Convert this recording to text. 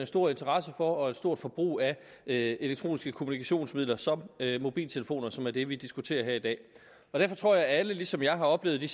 stor interesse for og et stort forbrug af elektroniske kommunikationsmidler som mobiltelefoner som er det vi diskuterer her i dag jeg tror at alle ligesom jeg har oplevet de